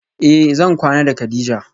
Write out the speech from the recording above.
Eh zan kwana da kadija